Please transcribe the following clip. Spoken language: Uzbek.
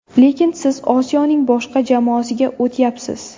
Lekin siz Osiyoning boshqa jamoasiga o‘tyapsiz.